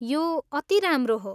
यो अति राम्रो हो।